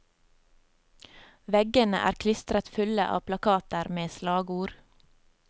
Veggene er klistret fulle av plakater med slagord.